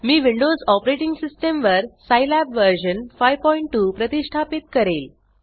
मी Windows operating system वरScilab version 52 प्रतिष्ठापित करेल